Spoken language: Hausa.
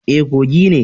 E, Kogi ne.